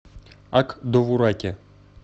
ак довураке